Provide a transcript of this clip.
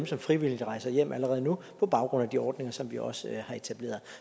som frivilligt rejser hjem allerede nu på baggrund af de ordninger som vi også har etableret